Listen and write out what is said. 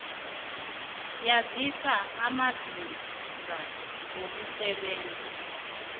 yazise amazinga wokusebenza